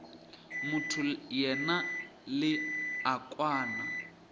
motho yena le a kwana